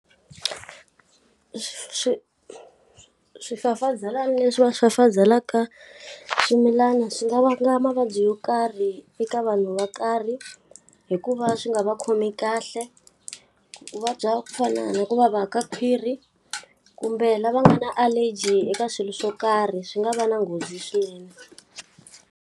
swifafazelana leswi va swi fafazela eka swimilana swi nga vanga mavabyi yo karhi eka vanhu va karhi, hi ku va swi nga va khomi kahle. Ku va bya ku fana na ku va va ka khwiri, kumbe lava nga na allergy eka swilo swo karhi swi nga va na nghozi swinene.